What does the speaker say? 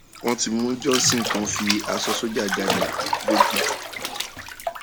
wọn ti mú johnson tó ń fi aṣọ sójà jálẹ lọgọdú